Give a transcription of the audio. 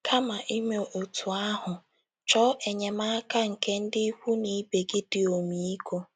Kama ime otú ahụ, chọọ enyemaka nke ndị ikwu na ibe gị dị ọmịiko.